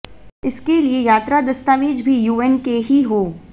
इसके लिए यात्रा दस्तावेज भी यूएन के ही हों